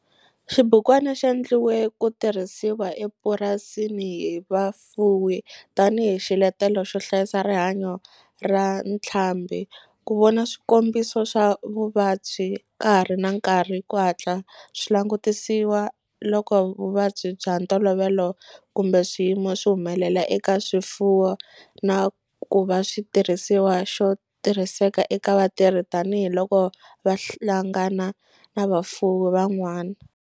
Xibukwana xi endliwe ku tirhisiwa epurasini hi vafuwi tani hi xiletelo xo hlayisa rihanyo ra ntlhambhi, ku vona swikombiso swa vuvabyi ka ha ri na nkarhi ku hatla swi langutisiwa loko vuvabyi bya ntolovelo kumbe swiyimo swi humelela eka swifuwo, na ku va xitirhisiwa xo tirhiseka eka vatirhi tani hi loko va hlangana na vafuwi van'wana.